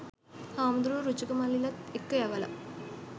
හාමුදුරුවෝ රුචක මල්ලිලත් එක්ක යවලා